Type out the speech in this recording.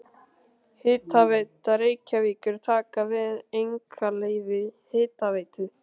Hitaveita Reykjavíkur taka við einkaleyfi Hitaveitu